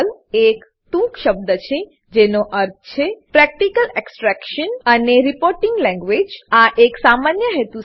Perl એક ટૂંક શબ્દ છે જેનો અર્થ છે પ્રેક્ટિકલ એક્સટ્રેક્શન પ્રેક્ટીકલ એક્સટ્રેક્શન અને રિપોર્ટિંગ લેન્ગ્વેજ રીપોર્ટીંગ લેંગવેજ